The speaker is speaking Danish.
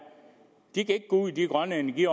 i